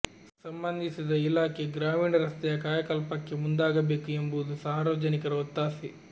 ಸಂಬಂಧಿಸಿದ ಇಲಾಖೆ ಗ್ರಾಮೀಣ ರಸ್ತೆಯ ಕಾಯಕಲ್ಪಕ್ಕೆ ಮುಂದಾಗಬೇಕು ಎಂಬುದು ಸಾರ್ವಜನಿಕರ ಒತ್ತಾಸೆ